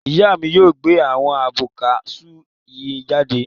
Ìyá mi yóò gbẹ abọ́ ká sú yii jáde.